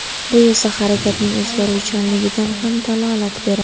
Bu esa harakatning o‘zgaruvchanligidan ham dalolat beradi.